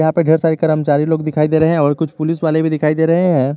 यहां पे ढेर सारी कर्मचारी लोग दिखाई दे रहे है और कुछ पुलिस वाले भी दिखाई दे रहे है।